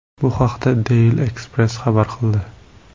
Bu haqda Daily Express xabar qildi .